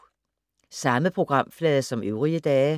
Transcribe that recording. Samme programflade som øvrige dage